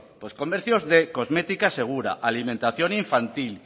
pues comercios de cosmética segura alimentación infantil